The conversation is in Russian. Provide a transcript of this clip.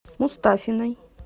мустафиной